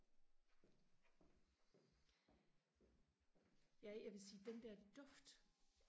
jeg jeg vil sige den der duft